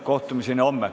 Kohtumiseni homme.